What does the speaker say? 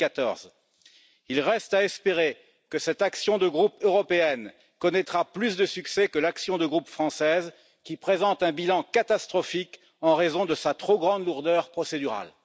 2014. Il reste à espérer que cette action de groupe européenne connaîtra plus de succès que l'action de groupe française qui présente un bilan catastrophique en raison de sa trop grande lourdeur procédurale.